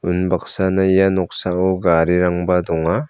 unbaksana ia noksao garirangba donga.